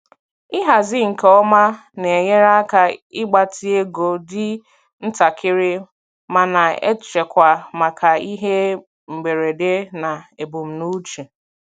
Ịhazi nke ọma na-enyere aka ịgbatị ego dị ntakịrị ma na-echekwa maka ihe mberede na ebumnuche.